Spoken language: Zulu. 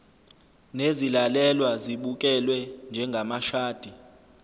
nezilalelwa zibukelwe njengamashadi